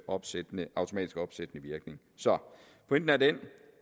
opsættende virkning så pointen er den